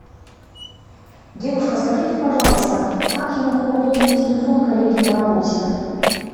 девушка скажите пожалуйста как я могу пополнить телефон коллеги по работе